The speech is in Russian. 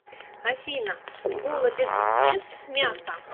афина голодец ест мясо